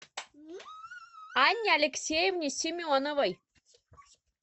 анне алексеевне семеновой